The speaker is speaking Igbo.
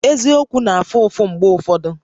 Eziokwu na-afụ ụfụ mgbe ụfọdụ